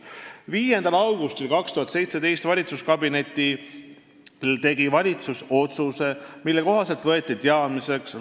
" 5. aprilli 2018 valitsuskabineti istungil võttis valitsus teadmiseks